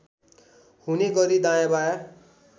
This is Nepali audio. हुने गरी दायाँबायाँ